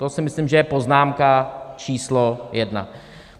To si myslím, že je poznámka číslo jedna.